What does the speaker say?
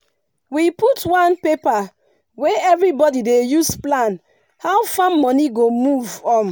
we put one paper wey everybody dey use plan how farm money go move. um